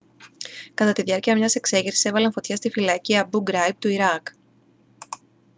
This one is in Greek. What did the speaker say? κατά τη διάρκεια μιας εξέγερσης έβαλαν φωτιά στη φυλακή αμπού γκράιμπ του ιράκ